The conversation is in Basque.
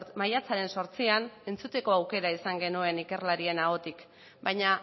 maiatzaren zortzian entzuteko aukera izan genuen ikerlarien ahotik baina